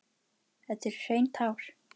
Þetta eru hrein tár.